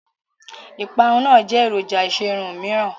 ìparun náà jẹ́ èròjà ìṣerun òmíràn.